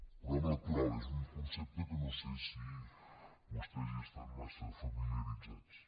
el programa electoral és un concepte amb el qual no sé si vostès estan massa familiaritzats